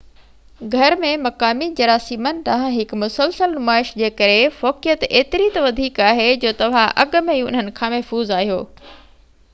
گهر ۾ مقامي جراثيمن ڏانهن هڪ مسلسل نمائش جي ڪري فوقيت ايتري ته وڌيڪ آهي جو توهان اڳ ۾ ئي انهن کان محفوظ آهيو